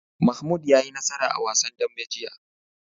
Mahmud ya yi nasara a wasan dambe jiya.